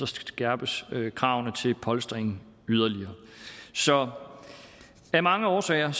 skærpes kravene til polstringen så af mange årsager